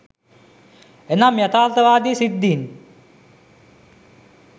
එනම් යථාර්ථවාදී සිද්ධීන්